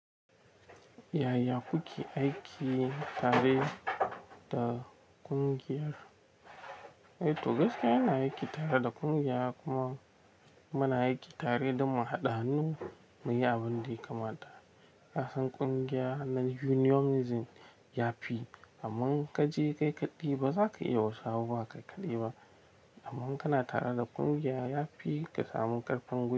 Yaya kuke aiki tare da kungiyar? Eh to gaskiya ina aiki tare da kungiya kuma muna aiki tare don mu haɗa hannu mu yi abin da ya kamata. Kasan kungiya na unionism yafi, amman in ka je kai kaɗai ba za ka iya wa su abubuwa kai kaɗai ba. Amma in kana tare da kungiya yafi ka samu ƙarfin.